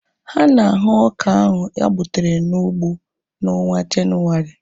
Ha na-ahu ọka ohu ha gbutere n'ụgbọ na onwa Jenuwari